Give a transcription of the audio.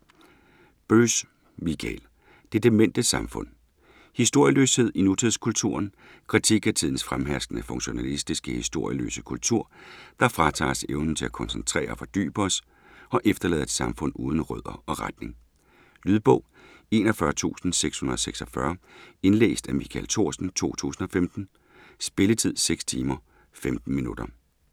Böss, Michael: Det demente samfund Historieløshed i nutidskulturen. Kritik af tidens fremherskende funktionalistiske, historieløse kultur, der fratager os evnen til at koncentrere og fordybe os, og efterlader et samfund uden rødder og retning. Lydbog 41646 Indlæst af Michael Thorsen, 2015. Spilletid: 6 timer, 15 minutter.